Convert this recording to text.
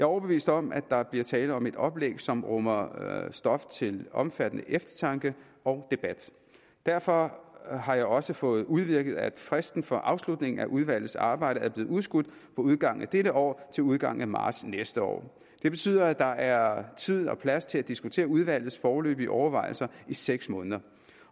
overbevist om at der bliver tale om et oplæg som rummer stof til omfattende eftertanke og debat derfor har jeg også fået udvirket at fristen for afslutningen af udvalgets arbejde er blevet udskudt fra udgangen af dette år til udgangen af marts næste år det betyder at der er tid og plads til at diskutere udvalgets foreløbige overvejelser i seks måneder